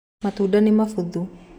Matunda nimabuthu